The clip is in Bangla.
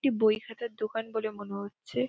এটি বই খাতার দোকান বলে মনে হচ্ছে ।